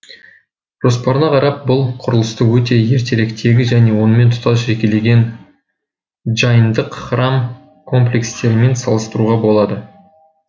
жоспарына қарап бұл құрылысты өте ертеректегі және онымен тұстас жекелеген джайндық храм комплекстерімен салыстыруға болады